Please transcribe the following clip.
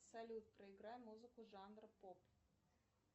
салют проиграй музыку жанр поп